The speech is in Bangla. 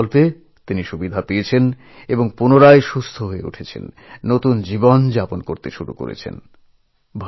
এই যোজনার সাহায্য নিয়ে চিকিৎসা করিয়ে এখন নতুন জীবন লাভ করেছেন